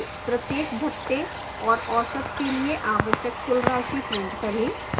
प्रत्येक भत्ते और औसत के लिए आवश्यक कुल राशि print करें